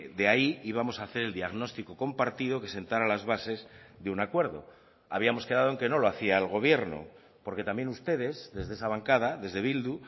de ahí íbamos a hacer el diagnóstico compartido que sentara las bases de un acuerdo habíamos quedado en que no lo hacia el gobierno porque también ustedes desde esa bancada desde bildu